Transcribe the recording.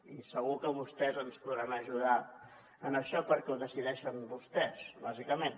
i segur que vostès ens podran ajudar en això perquè ho decideixen vostès bàsicament